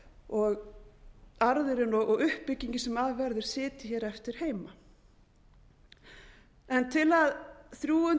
og arðurinn og uppbyggingin sem af verður sitji hér eftir heima til